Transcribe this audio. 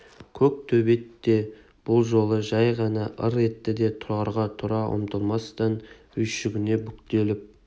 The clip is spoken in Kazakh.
көк төбет те бұл жолы жай ғана ыр етті де тұрарға тұра атылмастан үйшігінде бүктетіліп